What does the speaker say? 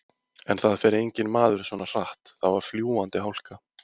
En það fer enginn maður svona hratt, það var fljúgandi hálka.